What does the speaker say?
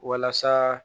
Walasa